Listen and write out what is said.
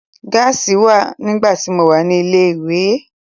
Gáàsì wọn nígbà tí mo wà ní ilé ìwé.